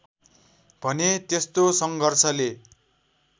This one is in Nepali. भने त्यस्तो सङ्घर्षले